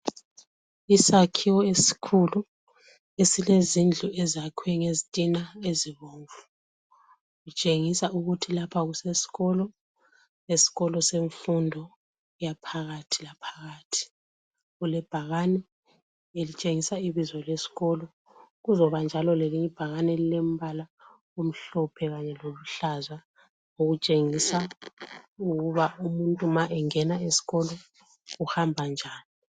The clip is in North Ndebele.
Isakhiwo esikhulu esilezindlu ezakhiwe ngezitina ezibomvu. Kutshengisa ukuthi lapha kusesikolo, esikolo semfundo yaphakathi laphakathi. Kulebhakani elitshengisa ibizo lesikolo, kuzoba njalo lelinye ibhakani elilembala omhlophe kanye loluhlaza okutshengisa ukuba umuntu ma engena esikolo uhamba njani.